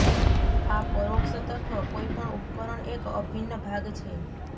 આ પરોક્ષ તત્વ કોઈપણ ઉપકરણ એક અભિન્ન ભાગ છે